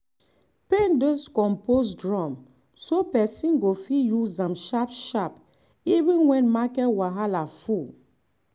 paint those compost drum so person go fit use am sharp sharp even when market wahala full.